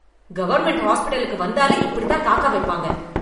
Government ஹாஸ்பிடலுக்கு வந்தாலே இப்படித்தான் காக்க வைப்பாங்க.